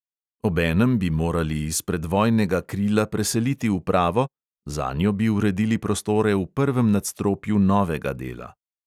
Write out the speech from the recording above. Obenem bi morali iz predvojnega krila preseliti upravo – zanjo bi uredili prostore v prvem nadstropju novega dela.